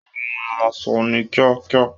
Ó hun aṣọ ní kíákíá